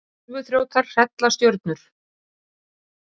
Tölvuþrjótar hrella stjörnur